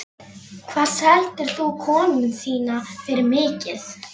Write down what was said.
Hvað seldirðu konuna þína fyrir mikið?